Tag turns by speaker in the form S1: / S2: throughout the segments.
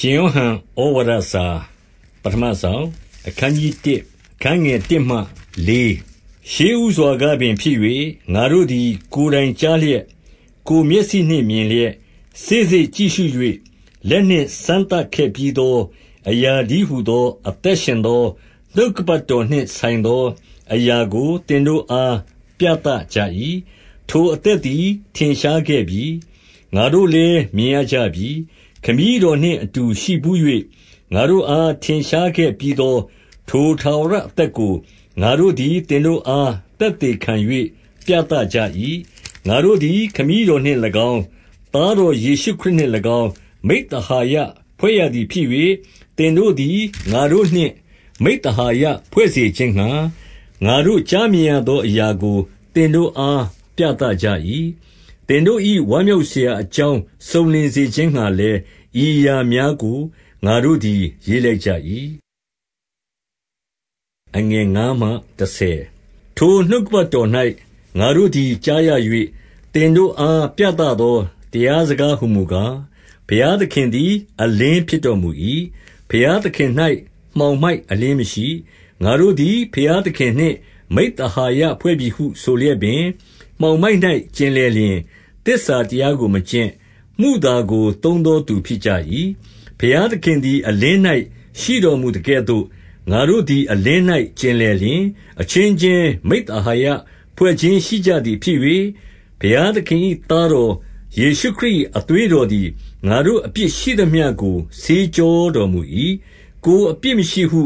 S1: ရှင်ယောဟန်​‌ဩဝါဒစာ​ပဌမစောင်။ အခနျး 1 ရှေ့ဦးစွာကပင်ဖြစ်၍၊ ငါတို့သည် ကိုယ်တိုင်ကြားလျက်၊ ကိုယ်မျက်စိနှင့်မြင်လျက်၊ စေ့စေ့ကြည့်ရှု၍ လက်နှင့် စမ်းသပ်ခဲ့ပြီးသောအရာတည်းဟူသော အသက်ရှင်သောနှုတ်ကပတ်တော်နှင့်ဆိုင်သောအရာကို သင်တို့အားပြသကြ၏။ 2 ထိုအသက်သည်ထင်ရှားခဲ့ပြီ။ ငါတို့လည်း မြင်ရကြပြီ။ ခမည်းတော်နှင့်အတူရှိဘူး၍၊ ငါတို့အား ထင်ရှားခဲ့ပြီးသော ထိုထာဝရအသက်ကို၊ ငါတို့သည် သင်တို့အား သက်သေခံ၍ပြသကြ၏။ 3 ငါတို့သည် ခမည်းတော်နှင့်၎င်း၊ သားတော်ယေရှုခရစ်နှင့်၎င်း၊ မိဿဟာယဖွဲ့ရသည်ဖြစ်၍၊ သင်တို့သည် ငါတို့နှင့် မိဿဟာယဖွဲ့စေခြင်းငှါ၊ ငါတို့ကြားမြင်ရသောအရာကို သင်တို့အားပြသကြ၏။ 4 သင်တို့၏ ဝမ်းမြောက်စရာအကြောင်း စုံလင်စေခြင်းငှါလည်း၊ ဤအရာများကို ငါတို့သည် ရေးလိုက်ကြ၏။ 5 ထိုနှုတ်ကပတ်တော်ထံ၌ ငါတို့သည်ကြားရ၍၊ သင်တို့အား ပြသသောတရားစကားဟူမူကား၊ ဘုရား သခင်သည်အလင်း ဖြစ်တော်မူ၏။ ဘုရားသခင်၌ မှောင်မိုက်အလျှင်းမရှိ။ 6 ငါတို့သည် ဘုရားသခင်နှင့် မိဿဟာယဖွဲ့ပြီဟုဆိုလျက်ပင်၊ မှောင်မိုက်၌ကျင်လည်လျှင်၊ သစ္စာတရား ကိုမကျင့်။ မုသာကိုသုံးသောသူ ဖြစ်ကြ၏။ 7 ဘုရားသခင်သည်အလင်း၌ရှိတော်မူသကဲ့သို့၊ ငါတို့သည်အလင်း၌ကျင်လည်လျှင်၊ အချင်းချင်း မိဿဟာယဖွဲ့ခြင်း ရှိကြသည်ဖြစ်၍၊ ဘုရားသခင်၏သားတော် ယေရှုခရစ်၏အသွေးတော်သည်၊ ငါတို့အပြစ် ရှိသမျှကို ဆေးကြောတော်မူ၏။ 8 ကိုယ်အပြစ်မရှိဟု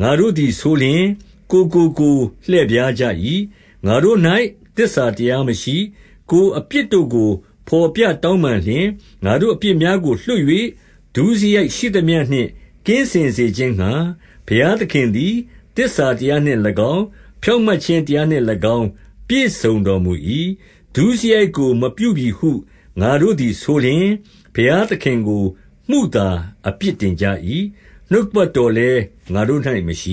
S1: ငါတို့သည်ဆိုလျှင်၊ ကိုယ်ကိုကိုယ်လှည့်ဖြားကြ၏။ ငါတို့၌သစ္စာတရားမရှိ။ 9 ကိုယ်အပြစ်တို့ကို ဘော်ပြတောင်းပန်လျှင်၊ ငါတို့အပြစ်များကိုလွှတ်၍ ဒုစရိုက်ရှိသမျှနှင့် ကင်းစင်စေခြင်းငှါ ဘုရားသခင်သည် သစ္စာတရားနှင့်၎င်း၊ ဖြောင့်မတ်ခြင်းတရားနှင့်၎င်း ပြည့်စုံတော်မူ၏။ 10 ဒုစရိုက်ကိုမပြုပြီဟု ငါတို့သည်ဆိုလျှင်၊ ဘုရားသခင်ကို မုသာအပြစ်တင်ကြ၏။ နှုတ်ကပတ်တော် လည်း ငါတို့၌မရှ